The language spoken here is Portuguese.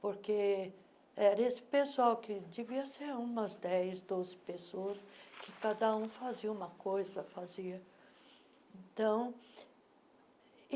porque era esse pessoal, que devia ser umas dez, doze pessoas, e cada um fazia uma coisa fazia então.